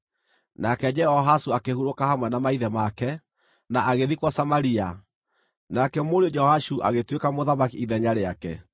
Nake Jehoahazu akĩhurũka hamwe na maithe make, na agĩthikwo Samaria. Nake mũriũ Jehoashu agĩtuĩka mũthamaki ithenya rĩake.